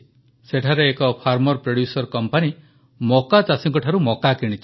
ସେଠାରେ ଏକ farmer producer company ମକା ଚାଷୀଙ୍କଠାରୁ ମକା କିଣିଛି